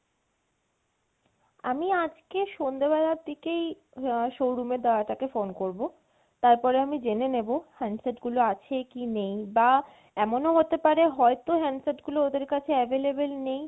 আমি আজকে সন্ধ্যে বেলার দিকেই আহ showroom এর দাদাটা কে phone করবো। তারপরে আমি জেনে নেবো handset গুলো আছে কি নেই, বা এমনও হতে পারে হয়তো handset গুলো ওদের কাছে available নেই